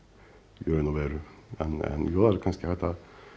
í raun og veru jú það er kannski hægt að